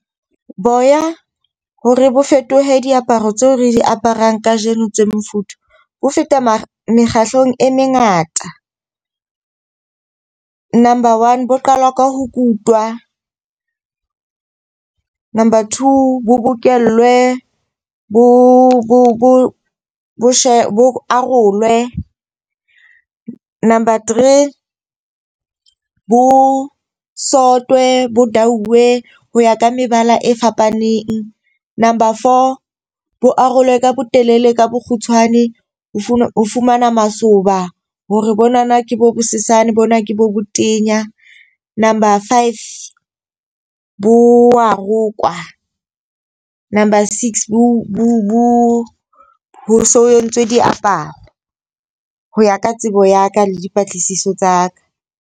Boya hore bo fetohe diaparo tseo re di aparang kajeno tse mofuthu. Ho feta moo, mekgatlong e mengata. Number one bo qala ka ho kutwa. Number two bo bokellwe bo bo arolwe. Number three bo sotwe bo dauwe ho ya ka mebala e fapaneng. Number four bo arolwe ka bo telele ka bokgutshwane ho ho fumana masoba hore bonana ke bo bosesane. Bona ke bo botenya. Number five bo wa rokwa. Number six bo bo so entswe diaparo ho ya ka tsebo ya ka le dipatlisiso tsa ka.